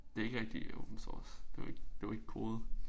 Det ikke rigtig Open source det jo ikke det jo ikke kode